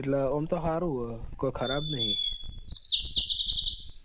એટલે આમ તો સારું છે કઈ ખરાબ નહિ.